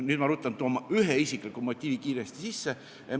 Nüüd ma ruttan ja toon ühe isikliku motiivi kiiresti sisse.